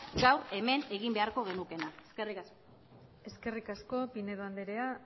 gaur hemen egin beharko genukeena eskerrik asko eskerrik asko pinedo andrea